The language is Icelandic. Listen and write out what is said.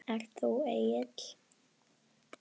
Ert þú Egill?